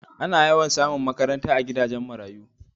A na yawan samu makaranta a gidajen marayu